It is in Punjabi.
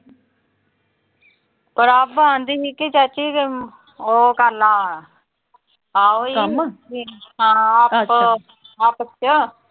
ਪ੍ਰਭ ਆਂਦੀ ਸੀ ਕਿ ਚਾਚੀ ਅਹ ਉਹੋ ਕਰਲਾ ਹਾਂ ਉਹੀ ਹਾਂ, ਆਪ ਅਹ ਆਪਸ ਚ